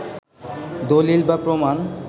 দলিল বা প্রমাণ